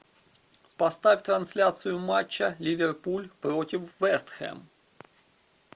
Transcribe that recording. поставь трансляцию матча ливерпуль против вест хэм